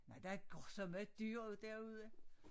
Nej der går sørme dyret derude